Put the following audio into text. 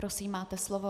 Prosím, máte slovo.